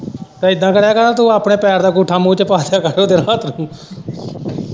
ਤੇ ਇੱਦਾ ਕਰਿਆ ਕਰ ਹਾਂ ਤੂੰ ਆਪਣੇ ਪੈਰ ਅੰਗੂਠਾ ਮੂੰਹ ਚ ਪਾ ਆਇਆ ਕਰ ਉਹਦੇ ਰਾਤ ਨੂੰ।